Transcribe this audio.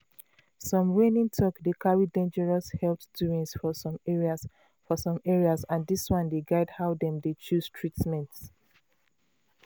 some reigning talk dey carry dangerous health doings for some areas for some areas and dis one dey guide how dem dey chose treatment.